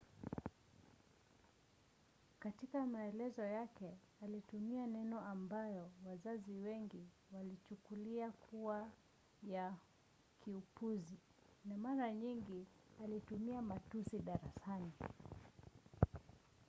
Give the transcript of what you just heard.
katika maelezo yake alitumia maneno ambayo wazazi wengine walichukulia kuwa ya kiupuzi na mara nyingi alitumia matusi darasani